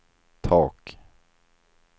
tak